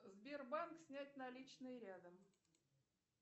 сбербанк снять наличные рядом